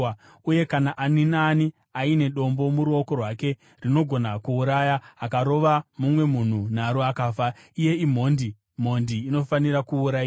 Uye kana ani naani aine dombo muruoko rwake rinogona kuuraya, akarova mumwe munhu naro akafa, iye imhondi; mhondi inofanira kuurayiwa.